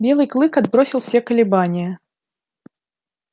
белый клык отбросил все колебания